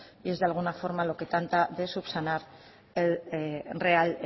y es de alguna forma lo que trata de subsanar el real